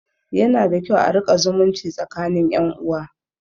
Yana da kyau a riƙa zumunci tsakinin ƴan uwa